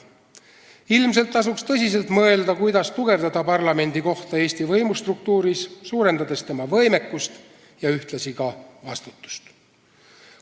Ilmselt tasuks tõsiselt mõelda, kuidas tugevdada parlamendi kohta Eesti võimustruktuuris, suurendades tema võimekust ja ühtlasi vastutust.